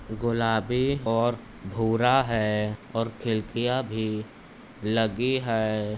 गुलाबी और भूरा है और खिल्किया भी लगी है।